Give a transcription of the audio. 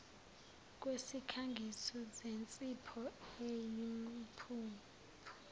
kwesikhangiso sensipho eyimpuphu